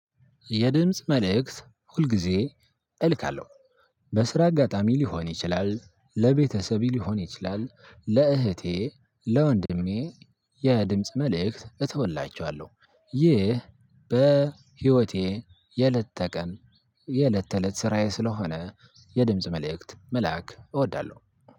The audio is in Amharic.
የድምጽ መልእክት ሁልጊዜ እልካለሁ። በስራ አጋጣሚ ሊሆን ይችላል ለቤተሰብ ሊሆን ይችላል ለእህቴ ለወንድሜ የድምጽ መልእክት እተውላቸዋለሁ። ይህ በህይወቴ የእለት ተእለት ስራዬ ስለሆነ የድምጽ መልእክት መላክ እወዳለሁ።